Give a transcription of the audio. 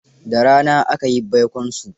Da rana aka yi baikonsu.